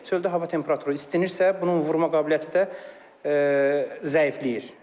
Çöldə hava temperaturu istinirsə, bunun vurma qabiliyyəti də zəifləyir.